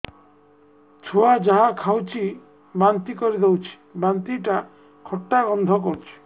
ଛୁଆ ଯାହା ଖାଉଛି ବାନ୍ତି କରିଦଉଛି ବାନ୍ତି ଟା ଖଟା ଗନ୍ଧ କରୁଛି